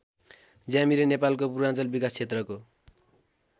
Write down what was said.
ज्यामिरे नेपालको पूर्वाञ्चल विकास क्षेत्रको